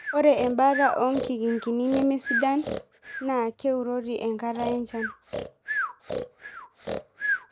Ore embata oonkikingini nemesidan naa keurori enkata enchan